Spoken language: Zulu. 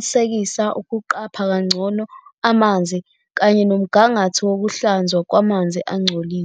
esencane kakhulu ngeminyaka.